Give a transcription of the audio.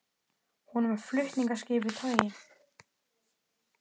Hún var með flutningaskip í togi.